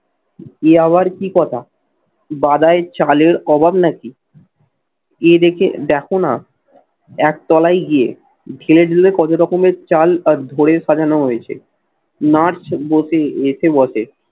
এ আবার কি কথা? বাদায় চালের অভাব নাকি? এ দেখে দেখো না এক তলায় গিয়ে কত রকমের চাল আর ধরে সাজানো হয়েছে। নাচ বসে এসে বসে।